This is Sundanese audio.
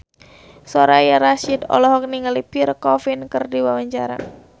Soraya Rasyid olohok ningali Pierre Coffin keur diwawancara